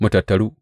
Mu tattaru!